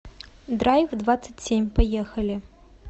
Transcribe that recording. драйвдвадцатьсемь поехали